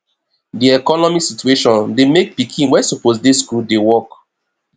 di economic situation dey make pikin wey suppose dey school dey work